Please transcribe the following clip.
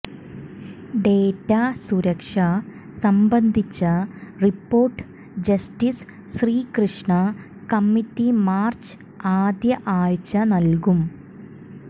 data സുരക്ഷ സംബന്ധിച്ച report justice Srikrishna committee March ആദ്യ ആഴ്ച നൽകും